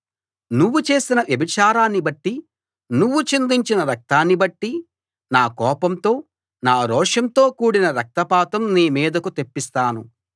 నువ్వు చేసిన వ్యభిచారాన్ని బట్టి నువ్వు చిందించిన రక్తాన్ని బట్టి నా కోపంతో నా రోషంతో కూడిన రక్తపాతం నీ మీదకు తెప్పిస్తాను